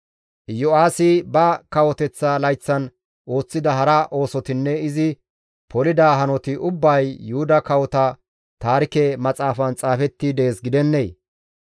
Iyo7aasi ba kawoteththa layththatan ooththida hara oosotinne izi polida hanoti ubbay Yuhuda Kawota Taarike Maxaafan xaafetti dees gidennee?